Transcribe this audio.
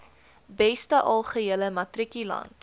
beste algehele matrikulant